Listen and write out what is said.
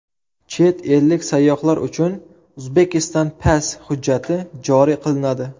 Chet ellik sayyohlar uchun Uzbekistan Pass hujjati joriy qilinadi.